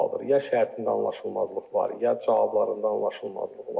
Ya şərtində anlaşılmazlıq var, ya cavablarında anlaşılmazlıq var.